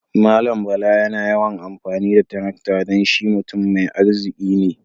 Mallam Bala yana yawan amfani da tarakta dan shi mutam mai arziki ne.